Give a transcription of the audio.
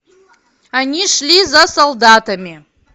они шли за солдатами